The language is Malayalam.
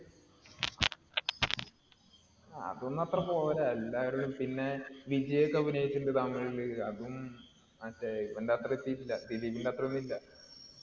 അതൊന്നും അത്രപോരാ. എല്ലാരുടേം പിന്നെ വിജയ്‌ ഒക്കെ അഭിനയിച്ചിട്ടുണ്ട് തമിഴില് മറ്റേ ഇവന്‍റെ അത്രേ എത്തീട്ടില്ല. ദിലീപിന്‍റെ അത്ര ഒന്നും ഇല്ല.